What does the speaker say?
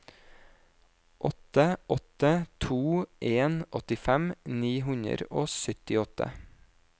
åtte åtte to en åttifem ni hundre og syttiåtte